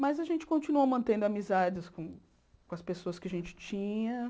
Mas a gente continuou mantendo amizades com as pessoas que a gente tinha.